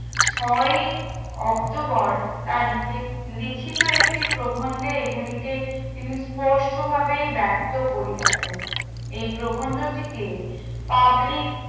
ছয় অক্টোবর তার ইতে লিখিত একটি প্রবন্ধে এগুলিকে তিনি পোষ্ট ভাবে বার্থ করিয়াছেন এই প্রবন্ধটিকে public